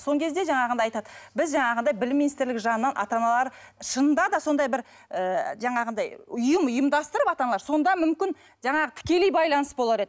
кезде жаңағындай айтады біз жаңағындай білім министрлігі жағынан ата аналар шынында да сондай бір і жаңағындай ұйым ұйымдастырып ата аналар сонда мүмкін жаңағы тікелей байланыс болар еді